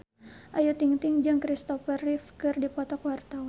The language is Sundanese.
Ayu Ting-ting jeung Christopher Reeve keur dipoto ku wartawan